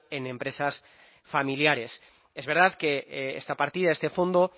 en empresas familiares es verdad que esta partida a este fondo